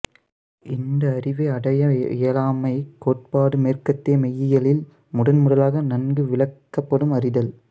இந்த அறிவை அடைய இயலாமைக் கோட்பாடு மேற்கத்திய மெய்யியலில் முதன் முதலாக நன்கு விளக்கப்படும் அறிதல்